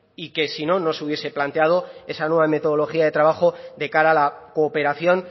y que si no no se hubiese planteado esa nueva metodología de trabajo de cara a la cooperación